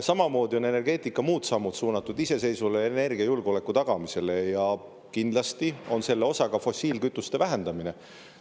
Samamoodi on energeetika muud sammud suunatud iseseisvale energiajulgeoleku tagamisele ja kindlasti on selle osa ka fossiilkütuste vähendamine.